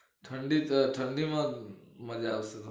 ઠંડી હ ઠંડી માં જ મજા આવશે